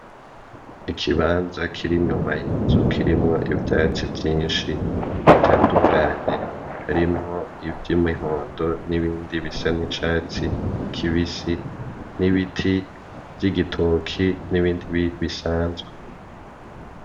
Ikibanza kiri inyuma y'inzu kirimwo ivyatsi vyinshi bitandukanye harimwo ivy'imihondo n'ibindi bisa nicatsi kibisi, n'ibiti vy'igitoki n'ibindi bisanzwe.